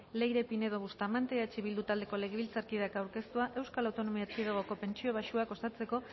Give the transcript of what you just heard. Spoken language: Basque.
leire pinedo bustamante eh bildu taldeko legebiltzarkideak aurkeztua eaeko pentsio baxuak osatzeko